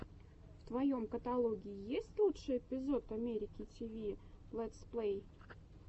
в твоем каталоге есть лучший эпизод америки тв лэтсплэй